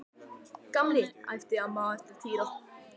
Gamli! æpti amma á eftir Týra.